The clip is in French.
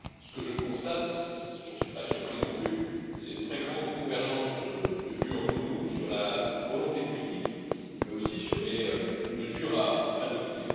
Ce que je constate, je n'en suis pas surpris non plus, c'est une très grande convergence de vue entre nous sur la volonté politique, mais aussi sur les mesures à adopter.